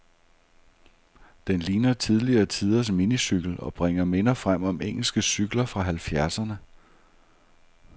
Den ligner tidligere tiders minicykel, og bringer minder frem om engelske cykler fra halvfjerdserne.